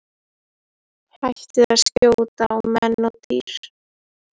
Hættir að skjóta á menn og dýr.